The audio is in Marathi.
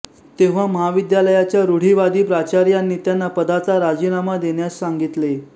तेव्हा महाविद्यालयाच्या रूढीवादी प्राचार्यांनी त्यांना पदाचा राजीनामा देण्यास सांगितले